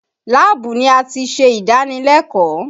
Láàbù ni a ti ṣe ìdánilẹ́kọ̀ọ́